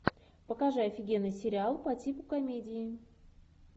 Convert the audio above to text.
покажи офигенный сериал по типу комедии